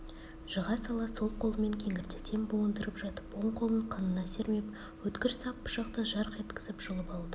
жыға сала сол қолымен кеңірдектен буындырып жатып оң қолын қынына сермеп өткір сап пышақты жарқ еткізіп жұлып алды